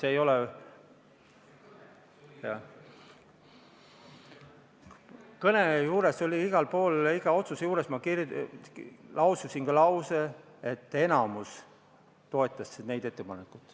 Aga oma kõnes ma iga otsuse kohta laususin ka lause, et enamik toetas neid ettepanekuid.